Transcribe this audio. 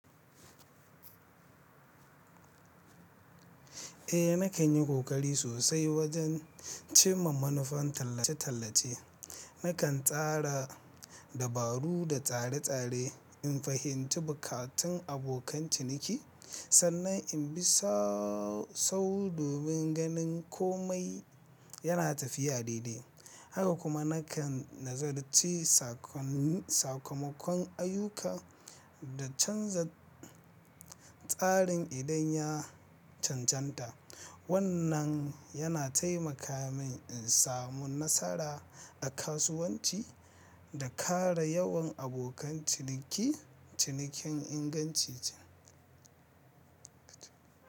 Eh nakan yi kokari sosai wajen cimma manufan tallace-tallace. Nakan tsara dabaru da tsare tsare in fahimci buƙatun abokan ciniki sannan in bi sau-sau domin ganin komai yana tafiya daidai. Haka kuma nakan nazarci sakamakon ayyuka da canza tsarin idan ya cancanta. Wannan yana taimaka min in samu nasara a kasuwanci da ƙara yawan abokan cinikin inganci ce.